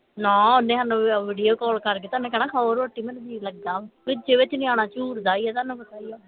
ਨਾ ਓਹਨੇ ਸਾਨੂੰ video call ਕਰਕੇ ਤੇ ਓਹਨੀ ਕਹਿਣਾ ਖਾਓ ਰੋਟੀ ਮੇਰਾ ਜੀ ਲਗਿਆ ਵਿਚੇ ਵਿਚ ਨਿਆਣਾ ਝੂਰਦਾ ਈ ਆ ਤੁਹਾਨੂੰ ਪਤਾ ਈ ਆ